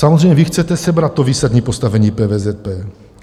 Samozřejmě, vy chcete sebrat to výsadní postavení PVZP.